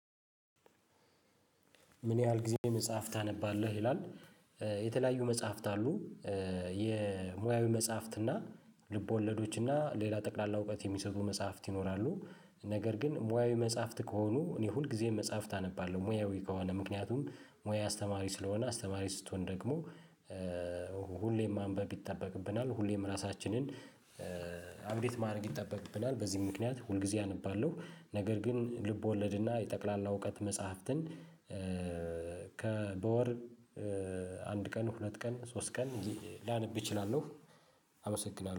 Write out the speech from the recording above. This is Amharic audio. ምን ያህል ጊዜ መጽሐፍ ታነባለህ ይላል? የተለያዩ መጽሐፍት አሉ የሙያዊ መጽሐፍት እና ልቦለዶች እና ሌላ ጠቅላላ እውቀት የሚሰጡ መጽሐፍት ይኖራሉ። ነገር ግን ሙያዊ መጽሐፍት ከሆኑ እኔ ሁል ጊዜ መጽሐፍት አነባለሁ ሙያዊ ከሆነ ምክንያቱም ሙያ አስተማሪ ስለሆነ አስተማሪ ስትሆን ደግሞ ሁሌም ማንበብ ይጠበቅብናል ሁሌም ራሳችንን አፕዴት ማድረግ ይጠበቅብናል። በዚህ ምክንያት ሁልጊዜ አነባለሁ። ነገር ግን ልብ ወለድና ጠቅላላ እውቀት መጽሐፍትን ከበወር አንድ ቀን ሁለት ቀን ሶስት ቀን ላነብ እችላለሁ። አመሰግናለሁ